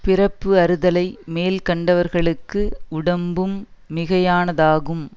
பிறப்பு அறுத்தலை மேல்கொண்டவர்களுக்கு உடம்பும் மிகையானதாகும்